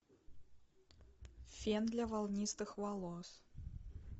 фен для волнистых волос